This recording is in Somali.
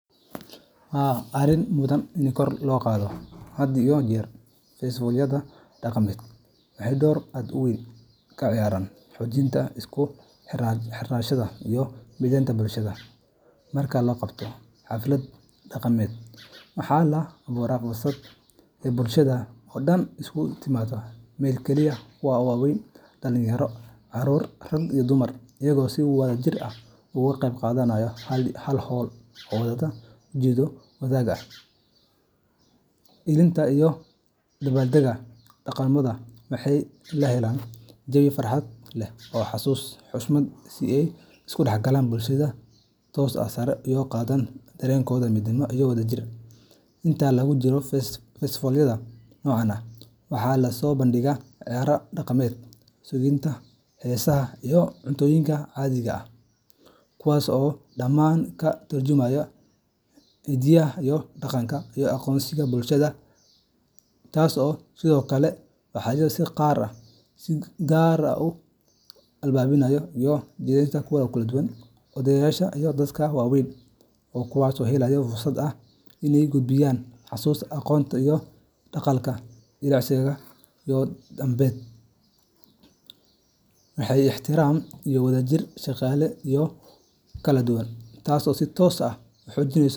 Haa arin mudan ini kor loo qadho haad iyo jer. Festivalyada dhaqameed waxay door aad u weyn ka ciyaaraan xoojinta isku xirnaanta iyo midnimada bulshada. Marka la qabto xaflad dhaqameed, waxa la abuuraa fursad uu bulshada oo dhan isugu timaaddo meel kaliya kuwa waaweyn, dhalinyaro, carruur, rag iyo dumar iyagoo si wadajir ah uga qeyb qaadanaya hal hawl oo wadata ujeeddo wadaag ah: ilaalinta iyo u dabbaaldegga dhaqankooda. Waxaa la helaa jawi farxad leh oo xasuus, xushmad iyo is dhexgal bulsho ku dhisan, taasoo sare u qaadda dareenka midnimo iyo wadajir. Inta lagu jiro festifaalada noocan ah, waxaa la soo bandhigaa ciyaaraha dhaqanka, suugaanta, heesaha, iyo cuntooyinka caadiga ah, kuwaas oo dhammaan ka tarjumaya hiddaha iyo aqoonsiga bulshada, Festivalyada. dhaqameed sidoo kale waxay si gaar ah u furaan albaabada is-dhexgalka jiilasha kala duwan. Odayaasha iyo dadka waayeelka ah waxay helaan fursad ay ku gudbiyaan xusuusta, aqoonta iyo dhaqanka jiilasha ka dambeeya, halka dhalinyarada ay ku baranayaan wax ku saabsan asalnimada dhaqankooda. Is-dhaafsigaas aqooneed iyo waaya-aragnimo wuxuu furo wadiiqooyin lagu dhiso is-aaminaad, ixtiraam, iyo wada shaqayn jiilal u kala duwan, taasoo si toos ah u xoojinesa.